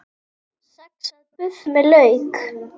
Saxað buff með lauk